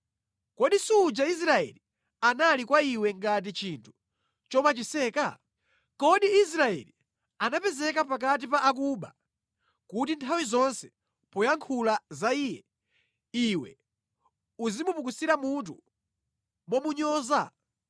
Kodi suja Israeli anali kwa iwe ngati chinthu chomachiseka? Kodi Israeli anapezeka pakati pa akuba kuti nthawi zonse poyankhula za iye, iwe uzimupukusira mutu momunyoza?